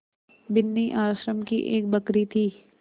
बिन्नी आश्रम की एक बकरी थी